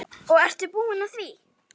Og ertu búin að því?